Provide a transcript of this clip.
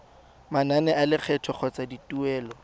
manane a lekgetho kgotsa dituelo